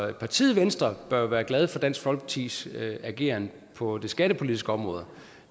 partiet venstre bør være glade for dansk folkepartis ageren på det skattepolitiske område